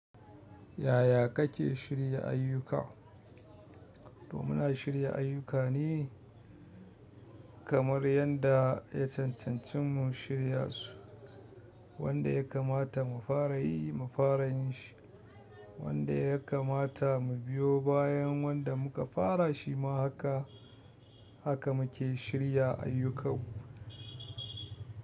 Yaya kake shirya ayyuka? Toh muna shirya ayyuka ne kamar yanda ya cancanci mu shirya su. Wanda ya kamata mu fara yi, mu fara yinshi, wanda ya kamata mu biyo bayan wanda muka fara shima haka, haka muke shirya ayyukan mu.